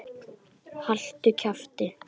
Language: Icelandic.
Haltu kjafti!